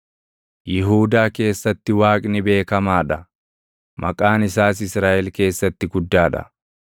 Yihuudaa keessatti Waaqni beekamaa dha; maqaan isaas Israaʼel keessatti guddaa dha.